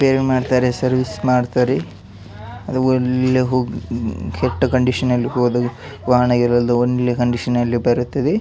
save ಮಾಡ್ತಾರೆ service ಮಾಡ್ತರೇ ಅದು ಅಲ್ಲಿ ಹೋಗಿ ಕೆಟ್ಟ ಕಂಡೀಶನ್ ಅಲ್ಲಿ ಹೋದ ವಾಹನ ಒಳ್ಳೆ ಕಂಡೀಶನ್ ಅಲ್ಲಿ ಬರುತ್ತದೆ --